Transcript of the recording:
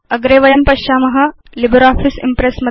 अग्रे वयं पश्याम लिब्रियोफिस इम्प्रेस्